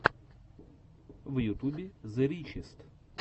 в ютубе зе ричест